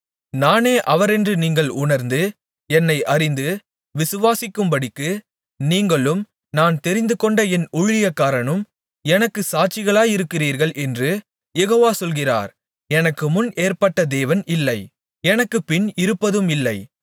நானே அவரென்று நீங்கள் உணர்ந்து என்னை அறிந்து விசுவாசிக்கும்படிக்கு நீங்களும் நான் தெரிந்துகொண்ட என் ஊழியக்காரனும் எனக்குச் சாட்சிகளாயிருக்கிறீர்கள் என்று யெகோவா சொல்கிறார் எனக்குமுன் ஏற்பட்ட தேவன் இல்லை எனக்குப்பின் இருப்பதும் இல்லை